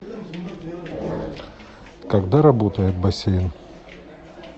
когда работает бассейн